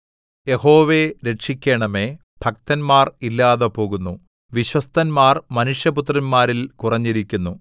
യഹോവേ രക്ഷിക്കണമേ ഭക്തന്മാർ ഇല്ലാതെ പോകുന്നു വിശ്വസ്തന്മാർ മനുഷ്യപുത്രന്മാരിൽ കുറഞ്ഞിരിക്കുന്നു